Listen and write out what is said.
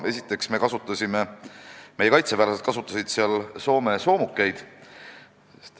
Esiteks kasutasid meie kaitseväelased seal Soome soomukeid.